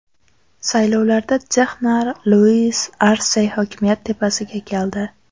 Saylovlarda texnar Luis Arse hokimiyat tepasiga keldi.